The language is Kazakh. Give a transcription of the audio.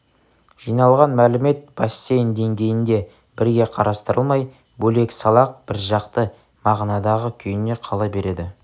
жиналған мәлімет бассейн деңгейінде бірге қарастырылмай бөлек-салақ біржақты мағынадағы күйінде қала береді